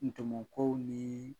Ntɔmɔ kow nii